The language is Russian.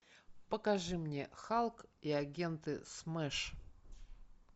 покажи мне халк и агенты смэш